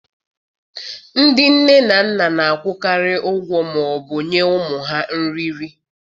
Ndị nne na nna na-akwụkarị ụgwọ ma ọ bụ nye ụmụ ha nri nri.